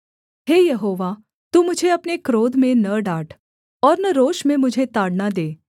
हे Jehovah तू मुझे अपने क्रोध में न डाँट और न रोष में मुझे ताड़ना दे